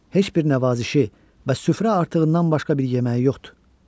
Heç bir nəvazişi və süfrə artığından başqa bir yeməyi yoxdur.